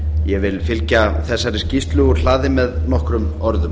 ég vil fylgja þessari skýrslu úr hlaði með nokkrum orðum